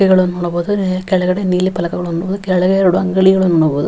ಇವುಗಳನ್ನು ನೋಡಬಹುದು ಕೆಳಗಡೆ ನೀಲಿ ಫಲಕ ನೋಡಬಹುದು ಕೆಳಗೆ ಎರಡು ಅಂಗಡಿಗಳನ್ನು ನೋಡಬಹುದು .